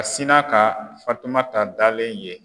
A sinna ka Fatumata dalen ye.